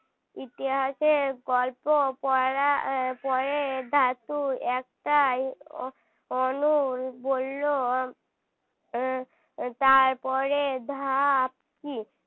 ইতিহাসের গল্প পড়ার পরে ধাতু একটাই অ~ অনল বলল আহ তারপরে ধাপ কি